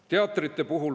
Teatrid.